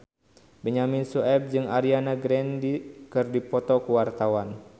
Benyamin Sueb jeung Ariana Grande keur dipoto ku wartawan